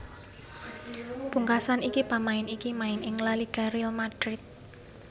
Pungkasan iki pamain iki main ing La Liga Real Madrid